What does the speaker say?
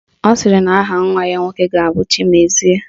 Ọ sịrị na aha nwa ya nwoke ga-abụ Chimezie